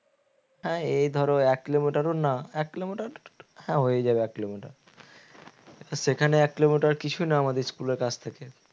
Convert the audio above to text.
হ্যাঁ এই ধরো এক কিলোমিটার ও না এক কিলোমিটার হ্যাঁ হয়ে যাবে এক কিলোমিটার সেখানে এক কিলোমিটার কিছু না আমাদের school থেকে